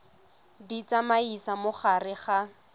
di tsamaisa mo gare ga